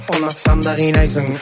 ұнатсам да қинайсың